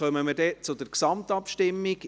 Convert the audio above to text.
Wir kommen zur Gesamtabstimmung.